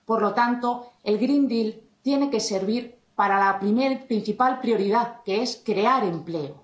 Por lo tanto, el Green Deal tiene que servir para la primera y principal prioridad, que es crear empleo.